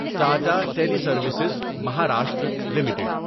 Tata Teleservices Maharashtra limited